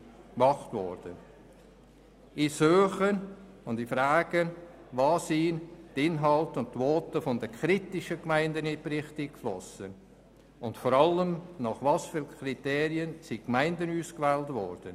Ich suche und frage, wo die Inhalte und Voten der kritischen Gemeinden in den Bericht eingeflossen sind und vor allem, nach welchen Kriterien die Gemeinden ausgewählt wurden.